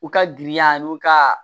U ka giriya n'u ka